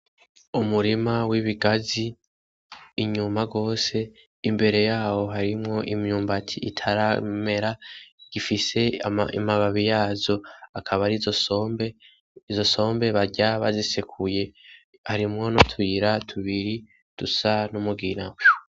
Umurima w'ibigazi inyuma gose imbere yaho hari imyumbati itaramera igifise amababi yazo akaba arizo sombe izo sombe barya bazisekuye harimwo nutuyira tubiri dusa n'umugina